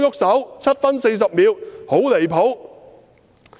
7分40秒：我說"很離譜"。